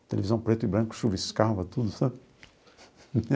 A televisão preta e branca chuviscava tudo, sabe?